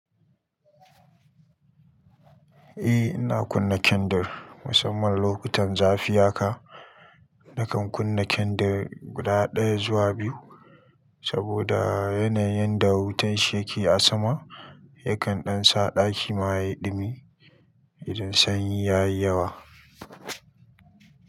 Eh ina kunna kendir musamman lokutan zafi haka. Nakan kunna kindir guda ɗaya zuwa biyu saboda yanayin yadda wutan shi yake a sama yakan ɗan sa ɗaki ma yayi ɗumi idan sanyi ya yi yawa.